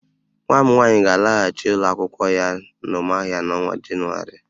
Nwa m nwaanyị ga-alaghachị ụlọ akwụkwọ ya n'Ụmụahịa n'ọnwa Jenụwarị